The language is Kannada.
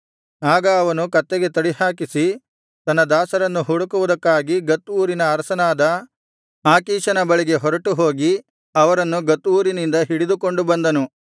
ಆಗ ಅವನು ಕತ್ತೆಗೆ ತಡಿಹಾಕಿಸಿ ತನ್ನ ದಾಸರನ್ನು ಹುಡುಕುವುದಕ್ಕಾಗಿ ಗತ್ ಊರಿನ ಅರಸನಾದ ಆಕೀಷನ ಬಳಿಗೆ ಹೊರಟು ಹೋಗಿ ಅವರನ್ನು ಗತ್ ಊರಿನಿಂದ ಹಿಡಿದುಕೊಂಡು ಬಂದನು